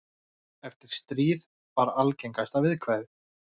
Eftir stríð var algengasta viðkvæðið.